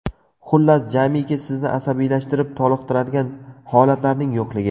Xullas, jamiki sizni asabiylashtirib toliqtiradigan holatlarning yo‘qligi.